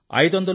500 రూ